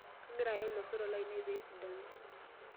Kagira ayel loisotok lainei pee esidanu.